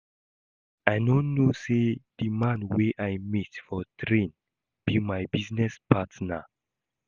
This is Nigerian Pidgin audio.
I no know say the man wey I meet for train be my business partner